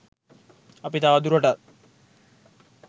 අපි තවදුරටත්